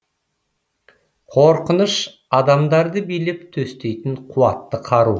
қорқыныш адамдарды билеп төстейтін қуатты қару